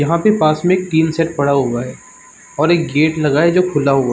यहाँ पे पास में एक टिन शेड पड़ा हुआ है और एक गेट लगा है जो खुला हुआ --